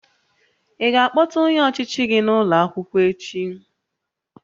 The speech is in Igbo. Ị ga-akpọta onye ọchịchị gị n'ụlọ akwụkwọ echi?